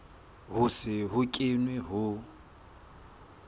ho se ho kenwe ho